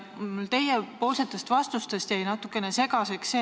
Teie vastused jäid natukene segaseks.